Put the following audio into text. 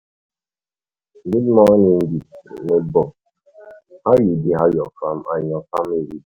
good morning, neighbor! how you dey and your family dey?